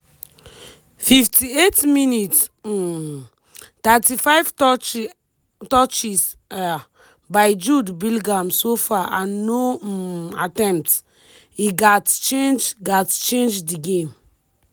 58mins- um 35 touches um by jude bellingham so far and no um attempts- e gatz change gatz change di game